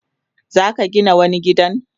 Zaka Gina wani gidan?